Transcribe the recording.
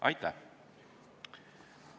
Aitäh!